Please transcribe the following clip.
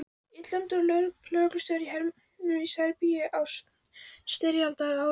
Illræmdur sem lögreglustjóri í hernuminni Serbíu á styrjaldarárunum.